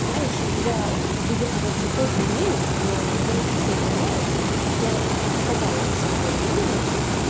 знаешь я выебываться тоже умею но я не хочу этого делать я сказала своё мнение